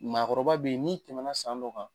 Maakɔrɔba be ye n'i tɛmɛna san dɔ kan